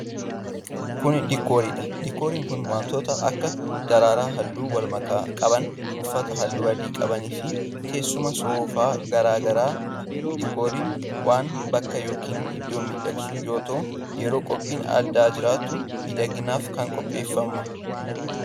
Kun, diikoorii dha. Diikooriin kun wantoota akka :daraaraa haalluu walmakaa qaban, uffata haalluu adii qaban fi teessoowwan soofaa garaa garaa dha. Diikooriin waan bakka yokin iddoo miidhagsu yoo ta'u, yeroo qophiin addaa jiraatu miidhaginaaf qopheeffama.